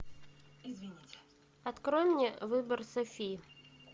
открой мне выбор софи